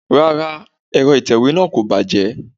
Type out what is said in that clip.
Rárá, Ẹ̀rọ itewe náà kò bàjẹ́.